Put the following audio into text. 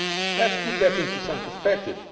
year. Let us put that into some perspective.